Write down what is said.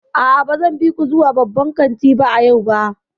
A'a, ba zan bi ku zuwa babban kanti a yau ba.